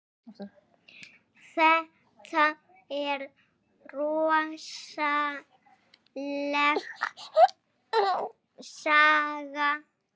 Þetta er rosaleg saga.